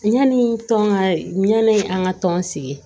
Yanni tɔn ka ɲani an ka tɔn sigi